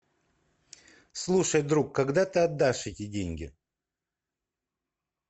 слушай друг когда ты отдашь эти деньги